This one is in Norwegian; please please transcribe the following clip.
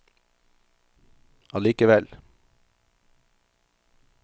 allikevel